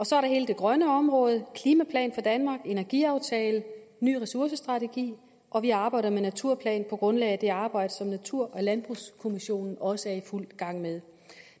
så er der hele det grønne område klimaplan danmark energiaftale ny ressourcestrategi og vi arbejder med naturplan på grundlag af det arbejde som natur og landbrugskommissionen også er i fuld gang med